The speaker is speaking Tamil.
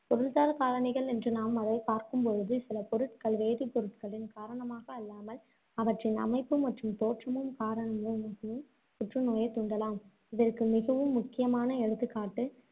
பொருள்சார் காரணிகள் என்று நாம் அதை பார்க்கும் போது சில பொருட்கள், வேதிப் பொருட்களின் காரணமாக அல்லாமல், அவற்றின் அமைப்பு மற்றும் தோற்றமும் காரணமாகவும் புற்றுநோயைத் தூண்டலாம். இதற்கு மிகவும் முக்கியமான எடுத்துக்காட்டு,